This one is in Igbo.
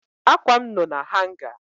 Akwa m no na hanga